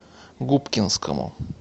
губкинскому